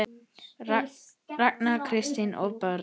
Ragnar, Kristín og börn.